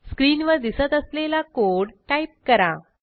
स्क्रीनवर दिसत असलेला कोड टाईप करा